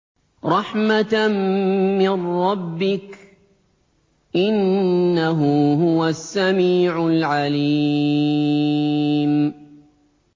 رَحْمَةً مِّن رَّبِّكَ ۚ إِنَّهُ هُوَ السَّمِيعُ الْعَلِيمُ